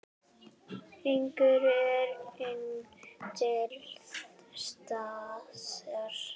Hungrið er enn til staðar.